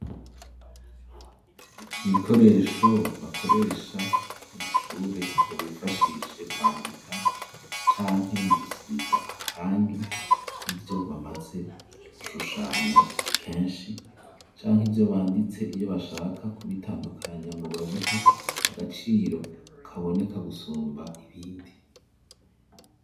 Ibikoresho bakoresha mw'ishure ngo bifashishe kwandika, canke mu gusiga amarangi ivyo bamaze gushushanya akenshi, canke ivyo banditse iyo bashaka kubitandukanya, ngo babihe agaciro kaboneka gusumba ibindi.